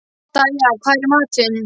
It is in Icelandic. Dæja, hvað er í matinn?